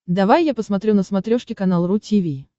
давай я посмотрю на смотрешке канал ру ти ви